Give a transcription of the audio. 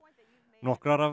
nokkrar af